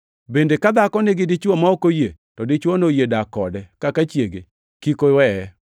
Bende ka dhako nigi dichwo ma ok oyie, to dichwono oyie dak kode kaka chiege, to kik oweye.